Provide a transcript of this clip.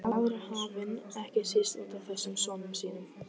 Yfir aðra hafinn, ekki síst útaf þessum sonum sínum.